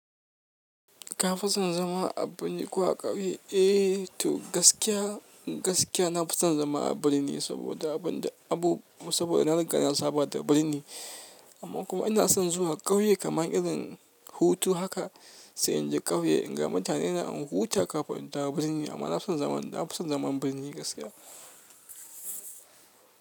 Ka fi son zama a birni ko a ƙauye? Eh to gaskiya, gaskiya na fi son zama a birni saboda abun da abu saboda na riga na saba da birni. Amma kuma ina son zuwa ƙauye kamar irin hutu haka sai in je ƙauye in ga mutane na in huta kafin in dawo birni. Amma na fi son zaman, na fi son zaman birni gaskiya.